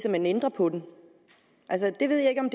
at man ændrer på den jeg ved ikke om